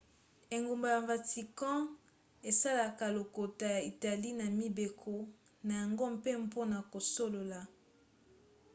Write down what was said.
engumba ya vatican esalelaka lokota ya italie na mibeko na yango mpe mpona kosolola